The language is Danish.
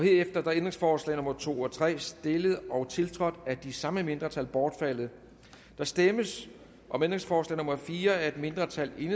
er ændringsforslag nummer to og tre stillet og tiltrådt af de samme mindretal bortfaldet der stemmes om ændringsforslag nummer fire af et mindretal